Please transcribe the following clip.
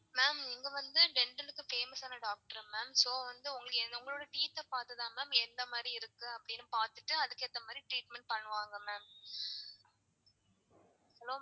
Ma'am இங்க வந்து dental க்கு famous ஆனா doctor ma'am so வந்து உங்களுக்கு உங்களோட teeth ஆ பாத்துதான் ma'am எந்த மாதிரி இருக்கு அப்டின்னு பாத்துட்டு அதுக்கு ஏத்த மாதிரி treatment பண்ணுவாங்க ma'am hello